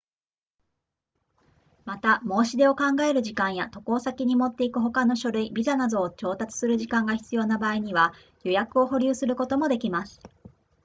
また申し出を考える時間や渡航先に持っていく他の書類ビザなどを調達する時間が必要な場合には予約を保留することもできます